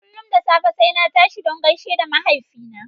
Kullum da safe na tashi don gaishe da mahaifina.